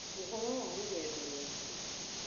Ũhoro wa rũgendo rwaku